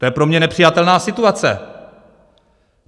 To je pro mě nepřijatelná situace.